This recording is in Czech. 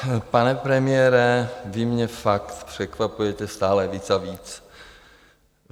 Pane premiére, vy mě fakt překvapujete stále víc a víc.